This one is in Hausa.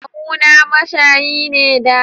Kawu na mashayi ne da